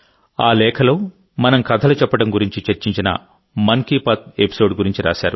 ఆ లేఖలో మనం కథలు చెప్పడం గురించి చర్చించిన మన్ కీ బాత్ ఎపిసోడ్ గురించి రాశారు